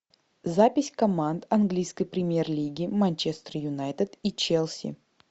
запись команд английской премьер лиги манчестер юнайтед и челси